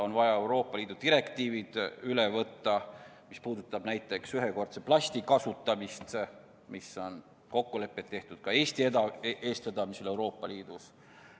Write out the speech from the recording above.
On vaja üle võtta Euroopa Liidu direktiivid, mis puudutavad näiteks plasti ühekordset kasutamist, mille kohta on Euroopa Liidus ka Eesti eestvedamisel kokkuleppeid tehtud.